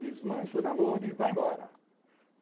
Desmancha o namoro e vá embora.